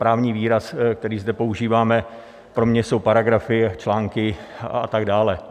Právní výraz, který zde používáme, pro mě jsou paragrafy, články a tak dále.